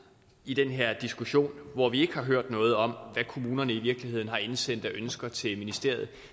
i den her diskussion hvor vi ikke har hørt noget om hvad kommunerne i virkeligheden har indsendt af ønsker til ministeriet